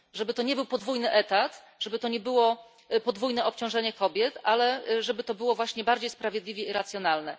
Żeby to nie był podwójny etat, żeby to nie było podwójne obciążenie kobiet, ale żeby to było właśnie bardziej sprawiedliwe i racjonalne.